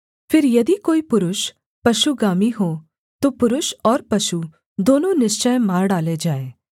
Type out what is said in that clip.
फिर यदि कोई पुरुष पशुगामी हो तो पुरुष और पशु दोनों निश्चय मार डाले जाएँ